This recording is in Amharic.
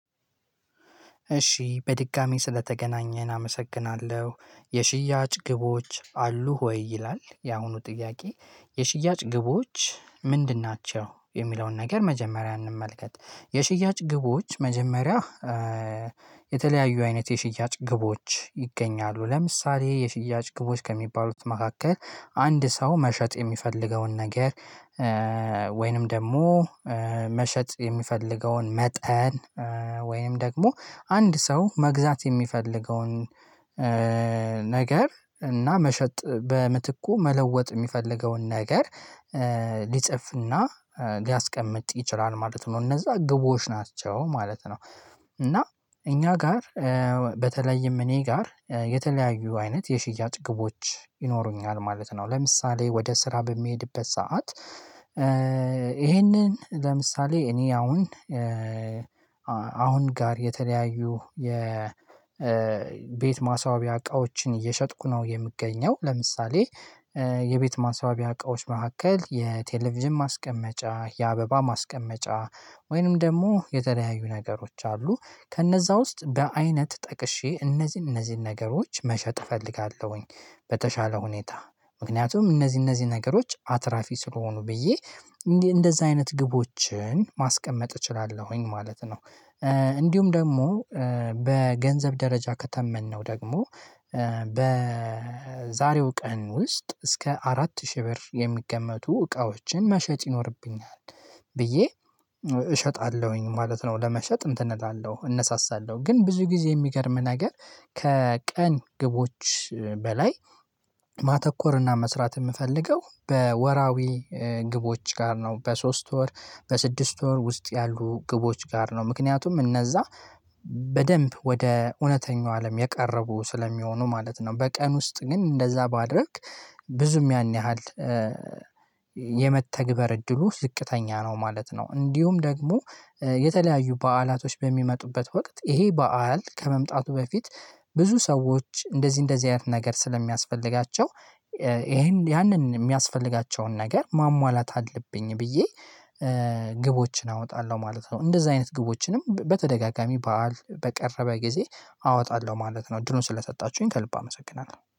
እሺ በድጋሚ ስለተገናኘን አመሰግናለሁ የሽያጭ ግቦች አሉ ወይ ይላል የአሁኑ ጥያቄ የሽያጭ ግቦች ምንድን ናቸው የሚለውን ነገር መጀመሪያ እንመልከት። የሽያጭ ግቦች መጀመሪያ። የተለያዩ አይነት የሽያጭ ግቦች ይገኛሉ ለምሳሌ የሽያጭ ግቦች ከሚባሉት መካከል አንድ ሰው መሸጥ የሚፈልገውን ነገር። ወይንም ደግሞ መሸጥ የሚፈልገውን መጠን። ወይንም ደግሞ አንድ ሰው መግዛት የሚፈልገውን ነገር እና መሸጥ በምትኩ መለወጥ የሚፈልገውን ነገር። ሊጽፍና ሊያስቀምጥ ይችላል ማለት ነው እነዛ ግቦች ናቸው ማለት ነው። እና እኛ ጋር በተለይም እኔ ጋር የተለያዩ አይነት የሽያጭ ግቦች ይኖሩኛል ማለት ነው። ለምሳሌ ወደ ስራ በሚሄድበት ሰዓት። ይሄንን ለምሳሌ እኔ አሁን አሁን ጋር የተለያዩ የቤት ማስዋቢያ እቃዎችን እየሸጥኩ ነው የምገኘው። ለምሳሌ የቤት ማስዋቢያ እቃዎች መካከል የቴሌቪዥን ማስቀመጫ የአበባ ማስቀመጫ ወይንም ደግሞ የተለያዩ ነገሮች አሉ። ከነዛ ውስጥ በአይነት ጠቅሼ እነዚህ እነዚህን ነገሮች መሸጥ እፈልጋለሁኝ። በተሻለ ሁኔታ ምክንያቱም እነዚህ እነዚህ ነገሮች አትራፊ ስለሆኑ ብዬ እንደዚህ አይነት ግቦችን ማስቀመጥ እችላለሁኝ ማለት ነው። እንዲሁም ደግሞ በገንዘብ ደረጃ ከተመነው ደግሞ በዛሬው ቀን ውስጥ እስከ አራት ሺህ ብር የሚገመቱ እቃዎችን መሸጥ ይኖርብኛል ብዬ እሸጣለሁኝ ማለት ነው። ለመሸጥ እንትን አለው እነሳሳለሁ ግን ብዙ ጊዜ የሚገርም ነገር ከቀን ግቦች በላይ ማተኮርና መስራት የምፈልገው በወራዊ ግቦች ጋር ነው። በሶስት ወር በስድስት ወር ውስጥ ያሉ ግቦች ጋር ነው ምክንያቱም እነዛ በደንብ ወደ እውነተኛው አለም የቀረቡ ስለሚሆኑ ማለት ነው። በቀን ውስጥ ግን እንደዛ ባደርግ ብዙም ያን ያህል የመተግበር እድሉ ዝቅተኛ ነው ማለት ነው። እንዲሁም ደግሞ የተለያዩ በዓላቶች በሚመጡበት ወቅት ይሄ በዓል ከመምጣቱ በፊት ብዙ ሰዎች እንደዚህ እንደዚህ አይነት ነገር ስለሚያስፈልጋቸው ይሄን ያንን የሚያስፈልጋቸውን ነገር ማሟላት አለብኝ። ብዬ ግቦችን አወጣለሁ ማለት ነው። እንደዛ አይነት ግቦችንም በተደጋጋሚ በዓል በቀረበ ጊዜ አወጣለሁ ማለት ነው። እድሉን ስለሰጣችሁኝ ከልብ አመሰግናለሁ